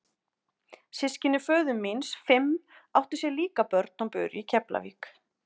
Systkini föður míns fimm áttu sér líka börn og buru í Keflavík.